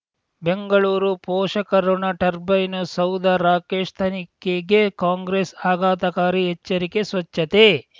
ಬೆಂಗಳೂರು ಪೋಷಕಋಣ ಟರ್ಬೈನು ಸೌಧ ರಾಕೇಶ್ ತನಿಖೆಗೆ ಕಾಂಗ್ರೆಸ್ ಆಘಾತಕಾರಿ ಎಚ್ಚರಿಕೆ ಸ್ವಚ್ಛತೆ